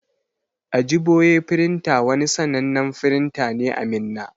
Ajiboye printer wani sannanen firinta ne a Minna.